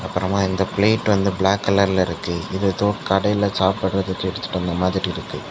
அப்புறமா இந்த பிளேட் வந்து பிளாக் கலர்ல இருக்கு இத ஏதோ கடையில சாப்பிடறதுக்கு எடுத்துட்டு வந்த மாதிரி இருக்கு.